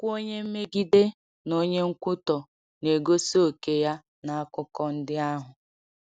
Okwu “Onye Mmegide” na “Onye Nkwutọ” na-egosi òkè ya n’akụkọ ndị ahụ.